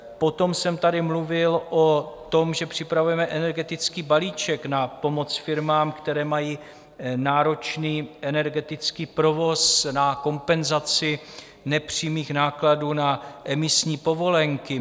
Potom jsem tady mluvil o tom, že připravujeme energetický balíček na pomoc firmám, které mají náročný energetický provoz, na kompenzaci nepřímých nákladů na emisní povolenky.